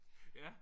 Ja?